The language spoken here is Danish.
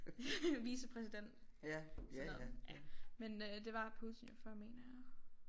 Vicepræsident sådan noget ja men øh det var Putin før mener jeg